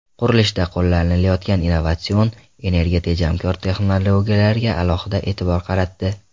Qurilishda qo‘llanilayotgan innovatsion, energiya tejamkor texnologiyalarga alohida e’tibor qaratdi.